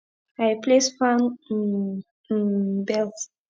i replace fan um um belt